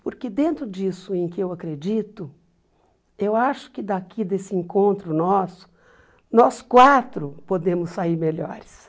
Porque dentro disso em que eu acredito, eu acho que daqui desse encontro nosso, nós quatro podemos sair melhores.